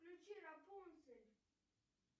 включи рапунцель